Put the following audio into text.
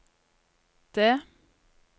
det